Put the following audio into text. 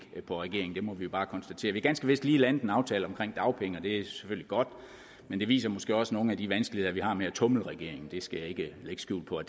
på regeringen det må vi jo bare konstatere vi har ganske vist lige landet en aftale om dagpenge og det er selvfølgelig godt men det viser måske også nogle af de vanskeligheder vi har med at tumle med regeringen det skal jeg ikke lægge skjul på at